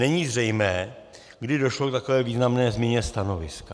Není zřejmé, kdy došlo k takové významné změně stanoviska.